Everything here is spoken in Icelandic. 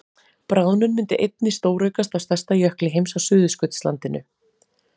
bráðnun myndi einnig stóraukast á stærsta jökli heims á suðurskautslandinu